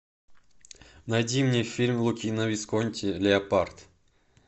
найди мне фильм лукино висконти леопард